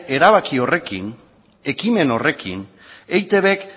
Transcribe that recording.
erabaki horrekin ekimen horrekin eitbk